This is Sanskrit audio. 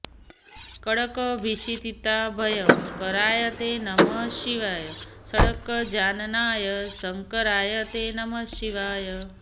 कङ्कभीषिताभयंकराय ते नमः शिवाय पङ्कजाननाय शंकराय ते नमः शिवाय